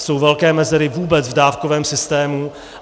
Jsou velké mezery vůbec v dávkovém systému.